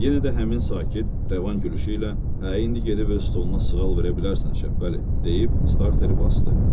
Yenə də həmin sakit, rəvan gülüşü ilə: Hə, indi gedib öz stoluna sığal verə bilərsən Şəbpəli, deyib starteri basdı.